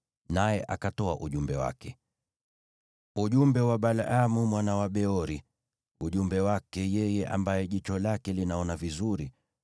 naye akatoa ujumbe wake: “Ujumbe wa Balaamu mwana wa Beori, ujumbe wake yeye ambaye jicho lake linaona vizuri;